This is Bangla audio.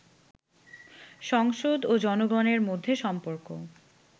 সংসদ ও জনগণের মধ্যে সম্পর্ক